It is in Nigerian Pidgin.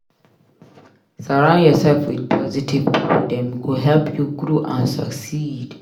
Surround yourself with positive pipo; dem go help you grow and succeed.